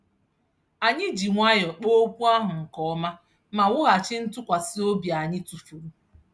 Anyị ji nwayọ kpaa okwu ahụ nke ọma ma wughachi ntụkwasị obi anyị tụfuru.